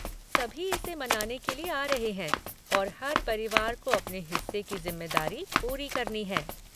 सभी इसे मनाने के लिए आ रहे हैं और हर परिवार को अपने हिस्से की जिम्मेदारी पूरी करनी है।